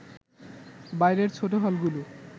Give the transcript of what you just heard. বাইরের ছোট হলগুলো